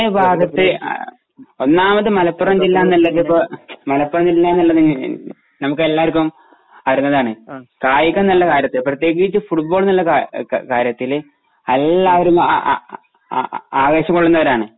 പൊന്നാനി ഭാഗത്തു ഒന്നാമത് മലപ്പുറം ജില്ല എന്നതിപ്പോ മലപ്പുറം ജില്ലാ എന്നതിന് നമുക്കെല്ലാപേര്ക്കും അറിയുന്നതാണ്. കായികകാര്യത്തിൽ പ്രത്യേകിച്ചും ഫുട്‌ബോളിന്റെ കാര്യത്തില് എല്ലാപേരും ആവേശം കൊള്ളുന്നവരാണ്.